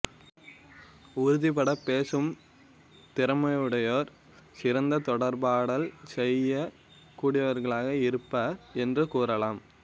உறுதிபடப் பேசும் திறமுடையோர் சிறந்த தொடர்பாடல் செய்யக் கூடியவர்களாக இருப்பர் என்று கூறலாம்